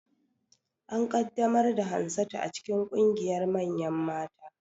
An ƙaddamar da Hansatu cikin ƙungiyar manyan mata